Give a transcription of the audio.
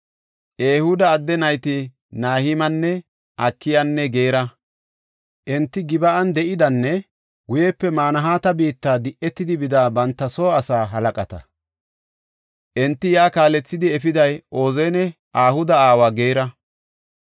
Ehuuda adde nayti Na7imaane, Akiyanne Geera. Enti Gib7an de7idanne guyepe Manahaata biitta di7etidi bida banta soo asaa halaqata. Enta yaa kaalethidi efiday Ozanne Ahuda aawa Geera.